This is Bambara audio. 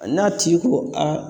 An'a tigi ko a